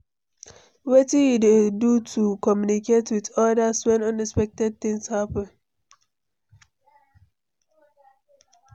Wetin you dey do to communicate with odas when unexpected things happen?